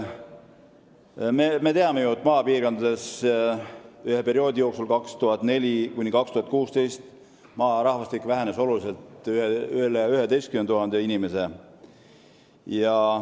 Me ju teame, et maapiirkondades vähenes rahvaarv perioodil 2004–2016 oluliselt, rohkem kui 11 000 inimese võrra.